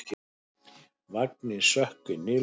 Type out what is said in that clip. Vanginn sökk inn í leðjuna.